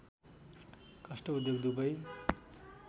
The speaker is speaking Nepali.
काष्ट उद्योग दुवै